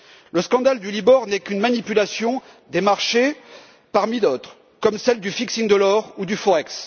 Le scandale du Libor n'est qu'une manipulation des marchés parmi d'autres, comme celles du cours de l'or ou du Forex.